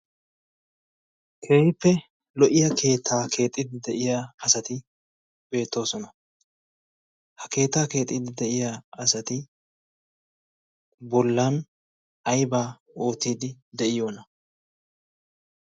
keehippe lo'iya keettaa keexiidi de'iya asati beettoosona. ha keettaa keexiiddi de'iya asati bollan aybaa oottiiddi de'iyoona?